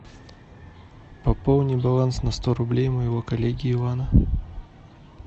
пополни баланс на сто рублей моего коллеги ивана